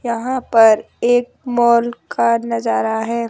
यहां पर एक मॉल का नजारा है।